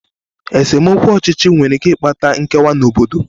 Esemokwu ọchịchị nwere ike ịkpata nkewa n'obodo.